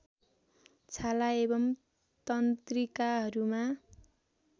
छाला एवं तंत्रिकाहरूमा